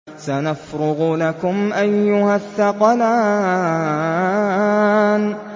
سَنَفْرُغُ لَكُمْ أَيُّهَ الثَّقَلَانِ